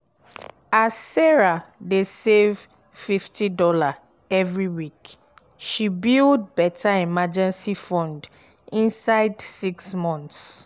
as sarah dey save fifty dollarsevery week she build better emergency fund inside six months